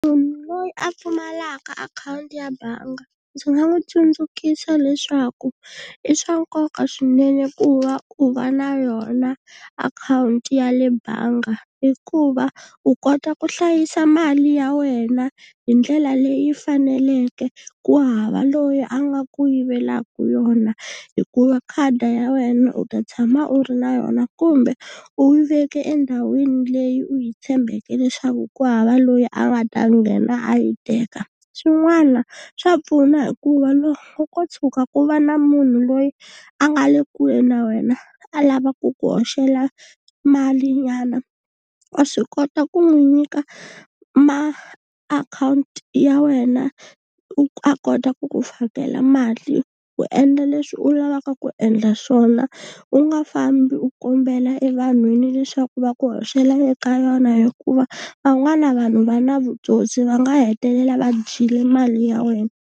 Munhu loyi a pfumalaka akhawunti ya bangi ndzi nga n'wi tsundzukiwa leswaku i swa nkoka swinene ku va u va na yona akhawunti ya le banga, hikuva u kota ku hlayisa mali ya wena hi ndlela leyi faneleke ku hava loyi a nga ku yivelaka yona, hikuva khadi ya wena u ta tshama u ri na yona kumbe u yi veke endhawini leyi u yi tshembeke leswaku ku hava loyi a nga ta nghena a yi teka. Swin'wana swa pfuna hikuva loko ko tshuka ku va na munhu loyi a nga le kule na wena a lava ku ku hoxela malinyana wa swi kota ku n'wi nyika maakhawunti ya wena a kota ku ku fakela mali u endla leswi u lavaka ku endla swona, u nga fambi u kombela evanhwini leswaku va ku hoxela eka yona hikuva van'wana vanhu va na vutsotsi va nga hetelela va dyile mali ya wena.